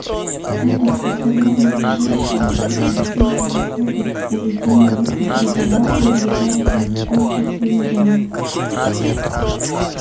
этот установленный женщинами не неписаный кодекс поведения и придавал привлекательность обществу южан